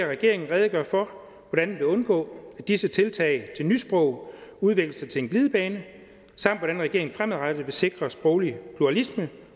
regeringen redegøre for hvordan den vil undgå at disse tiltag til nysprog udvikler sig til en glidebane samt hvordan regeringen fremadrettet vil sikre sproglig pluralisme